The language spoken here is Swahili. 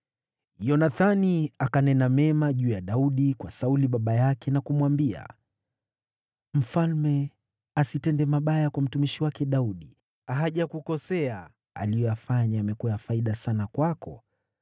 Yonathani akanena mema juu ya Daudi kwa Sauli baba yake na kumwambia, “Mfalme asitende mabaya kwa mtumishi wake Daudi; hajakukosea, aliyoyafanya yamekuwa ya faida sana kwako.